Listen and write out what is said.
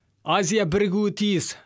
азия бірігуі тиіс